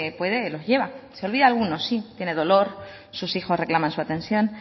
puede los lleva se olvida alguno sí tiene dolor sus hijos reclaman su atención